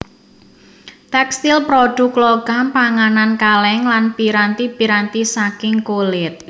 Tèkstil prodhuk logam panganan kalèng lan piranti piranti saking kulit